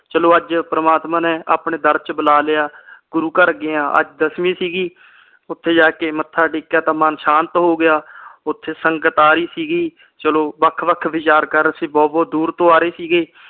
ਚਲੋ ਅੱਜ ਪ੍ਰਮਾਤਮਾ ਨੇ ਆਪਣੇ ਦਰ ਚ ਬੁਲਾ ਲਿਆ ਗੁਰੂ ਘਰ ਗਏ ਆ ਅੱਜ ਦਸਮੀ ਸੀ ਗੀ ਓਥੇ ਜਾ ਕੇ ਮੱਥਾ ਟੇਕਿਆ ਤੇ ਮਨ ਸ਼ਾਂਤ ਹੋ ਗਿਆ ਓਥੇ ਸੰਗਤ ਆ ਰਹੀ ਸੀ ਗੀ ਚਲੋ ਵੱਖ ਵੱਖ ਵਿਚਾਰ ਕਰ ਰਹੇ ਸੀ ਬਹੁਤ ਬਹੁਤ ਦੂਰ ਤੋਂ ਆ ਰਹੇ ਸੀਗੇ